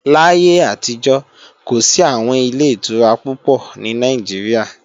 Láyé àtijọ́, kò sí àwọn Ilé-ìtura púpọ̀ ní Nàìjíríà